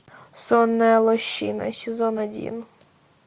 сонная лощина сезон один